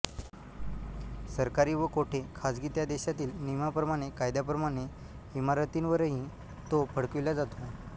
सरकारी व कोठे खाजगी त्या देशातील नियमांप्रमाणेकायद्यांप्रमाणे इमारतींवरही तो फडकविल्या जातो